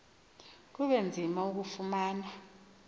kube nzima ukulufumana